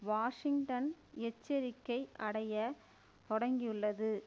Washington எச்சரிக்கை அடைய தொடங்கியுள்ளது